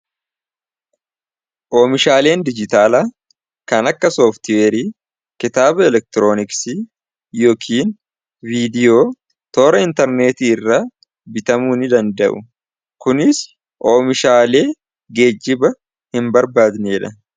Oomishaaleen dijitaalaa kan akka sooftweerii, kitaaba, elektirooniksi yookiin viidiyoo toora intarneetii irra bitamuuni danda'u kunis oomishaalee geejjiba hin barbaanneedha.